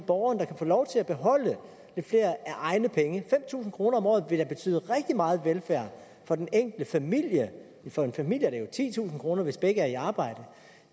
borgeren der kan få lov til at beholde lidt flere af egne penge fem tusind kroner om året vil da betyde rigtig meget velfærd for den enkelte familie for en familie er det jo titusind kr hvis begge er i arbejde